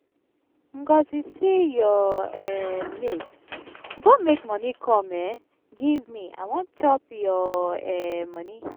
ngọzi see your um mate go make money come um give me i wan chop your um money.